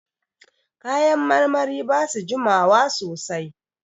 Kayan marmari ba su jima wa sosai.